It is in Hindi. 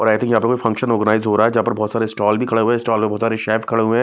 और आई थिंक यहाँ पर कोई फंक्शन ओर्गानिज़ हो रहा है जहाँ पर बहोत सारे स्टोल भी खड़े हुए स्टोल पे बहोत सारे शैफ खड़े हैं।